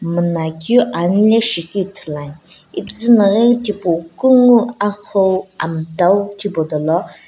miina keu anelae shikeu Ithulu ane epuzuna kunguo amtau thipu do lo.